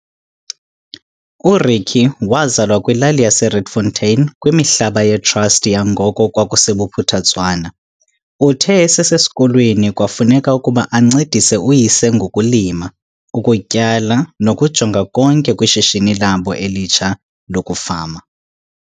URykie wazalwa kwilali yaseRietfontein kwimihlaba ye-trust yangoko kwakuseBophuthatswana. Uthe esesesikolweni kwafuneka ukuba ancedise uyise ngokulima, ukutyala nokujonga konke kwishishini labo elitsha lokufama.